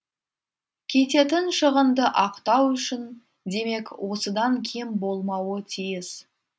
кететін шығынды ақтау үшін демек осыдан кем болмауы тиіс